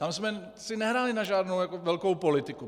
Tam jsme si nehráli na žádnou velkou politiku.